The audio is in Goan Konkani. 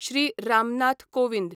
श्री राम नाथ कोविंद